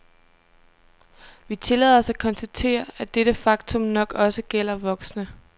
Vi tillader os at konstatere, at dette faktum nok også gælder voksne.